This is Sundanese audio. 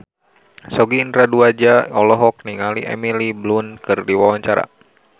Sogi Indra Duaja olohok ningali Emily Blunt keur diwawancara